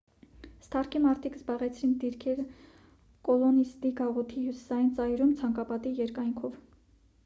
սթարքի մարդիկ զբաղեցրին դիրքերը կոլոնիստի գաղութի հյուսիսային ծայրում ցանկապատի երկայնքով